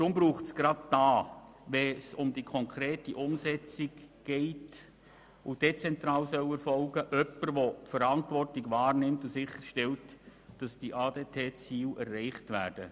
Deshalb braucht es gerade hier, bei der konkreten und dezentralen Umsetzung jemanden, der die Verantwortung wahrnimmt und sicherstellt, dass die ADTZiele erreicht werden.